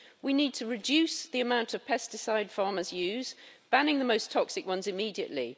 We need to reduce the amount of pesticides farmers use, banning the most toxic ones immediately.